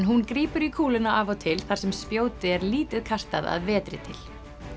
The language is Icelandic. hún grípur í kúluna af og til þar sem spjóti er lítið kastað að vetri til